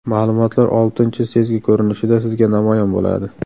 Ma’lumotlar oltinchi sezgi ko‘rinishida sizga namoyon bo‘ladi.